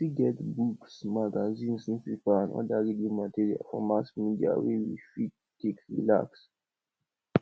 we fit get books magazine newspaper and oda reading material for mass media wey we fit take relax